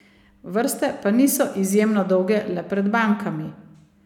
Vrste pa niso izjemno dolge le pred bankami.